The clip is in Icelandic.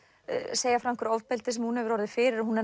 segja frá einhverju ofbeldi sem hún hefur orðið fyrir hún